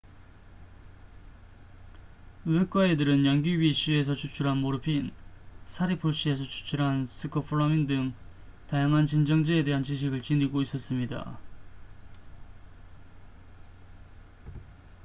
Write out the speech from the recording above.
외과의들은 양귀비 씨에서 추출한 모르핀 사리풀 씨에서 추출한 스코폴라민 등 다양한 진정제에 대한 지식을 지니고 있었습니다